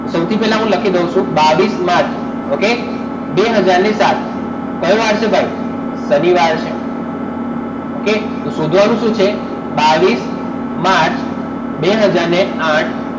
તો સૌથી પહેલા હું લખી દઉં છું બાવીસ માર્ચ okay બે હાજર ને સાત કયો વાર છે ભાઈ શનિવાર છે okay તો શોધવાનું શું છે બાવીસ માર્ચ બે હાજર ને આઠ